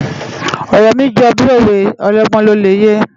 Òrò mi jò bi ówé òlògbòn ló lè yé